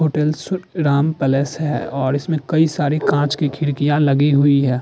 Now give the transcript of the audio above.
Hotels Ram Palace है और इसमें कई सारी कांच की खिड़कियां लगी हुई हैं।